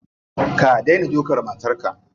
Ka dena dukan matarka.